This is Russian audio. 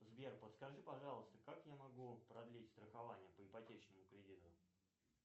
сбер подскажи пожалуйста как я могу продлить страхование по ипотечному кредиту